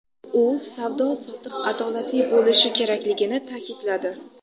U savdo-sotiq adolatli bo‘lishi kerakligini ta’kidladi.